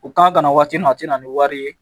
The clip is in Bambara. U kan ka na waati min na a te na ni wari ye